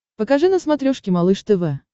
покажи на смотрешке малыш тв